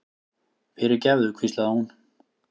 fyrirgefðu, hvíslaði hún.